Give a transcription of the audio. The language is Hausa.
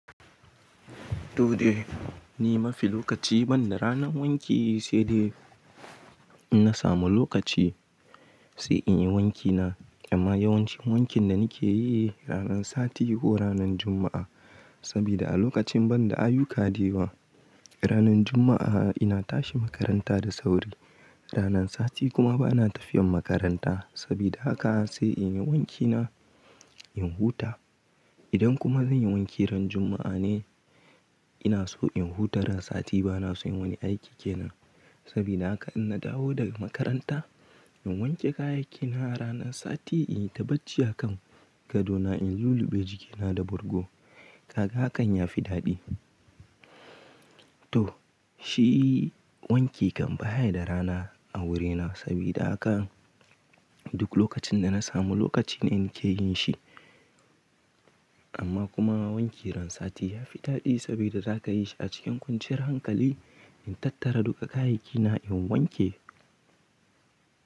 Dole ni mafi lokaci banda ranan wanki, sai dai in na samu lokaci sai in yi wankina. Amma yawancin wankin da nake yi ranan sati ko ranan Juma'a. Saboda a lokacin banda ayyuka dayawa, ranan Juma'a ina tashi makaranta da sauri. Ranan sati kuma bana tafiyan makaranta. Saboda haka sai in yi wankina in huta. Idan kuma zan yi wanki ran Juma'a ne, ina so in huta ran sati bana so yin wani aiki ke nan. Saboda haka in na dawo daga makaranta, in wanke kayyakina ranan sati, in ta bacciya kan gadona in luluɓe jikina da burgo. Kaka hakan ya fi daɗi. To shi wanki kan baye da rana a wurina saboda haka duk lokacin da na samu lokaci na ke yin shi. Amma kuma wanki ran sati ya fi daɗi saboda zaka yi shi a cikin kwanciyar hankali, in tattara duka kayyakina in wanke.